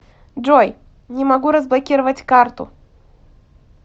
джой не могу разблокировать карту